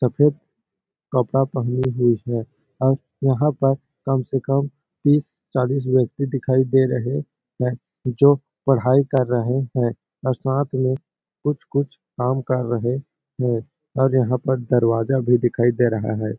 सफेद कपड़ा पहने हुए है और वहाँ पर कम से कम तीस-चालीस व्यक्ति दिखाई दे रहें है जो पढ़ाई कर रहे है और साथ में कुछ-कुछ काम कर रहें है और यहाँ पर दरवाजा भी दिखाई दे रहा है।